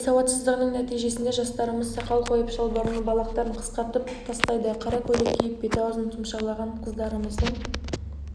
діни сауатсыздығының нәтижесінде жастарымыз сақал қойып шалбарының балақтарын қысқартып тастайды қара көйлек киіп беті-аузын тұмшалаған қыздарымыздың